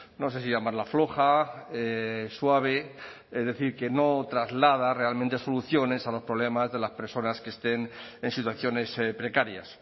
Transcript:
no sé si llamarla floja suave es decir que no traslada realmente soluciones a los problemas de las personas que estén en situaciones precarias